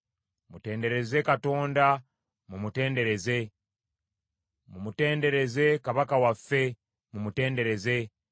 Mutendereze Katonda, mumutendereze. Mumutendereze Kabaka waffe, mumutendereze.